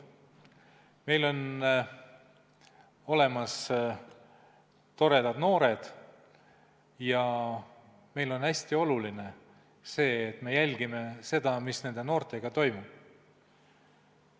Meil on olemas toredad noored ja meile on hästi oluline jälgida seda, mis nende noortega toimub.